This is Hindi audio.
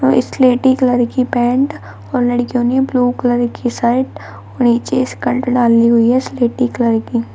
और स्लेटी कलर की पैंट और लड़कियों ने ब्लू कलर की शर्ट और नीचे स्कल्ट डाली हुई है स्लेटी कलर की।